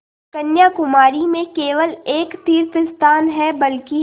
कन्याकुमारी में केवल एक तीर्थस्थान है बल्कि